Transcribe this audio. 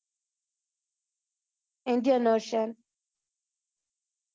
Indian ocean